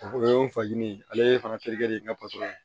O ye n fajigin ye ale fana terikɛ de ye n ka patɔrɔn ye